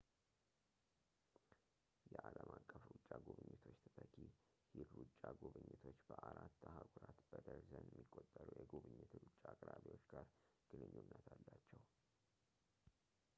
የዓለም አቀፍ ሩጫ ጉብኝቶች ተተኪ ሂድ ሩጫ ጉብኝቶች በአራት አህጉራት በደርዘን የሚቆጠሩ የጉብኝት ሩጫ አቅራቢዎች ጋር ግንኙነት አላቸው